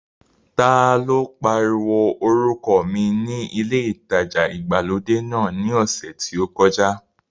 Ta ló pariwo orúkọ mi ní ilé ìtajà ìgbàlódé náà ní ọ̀sẹ̀ tí ó kọjá?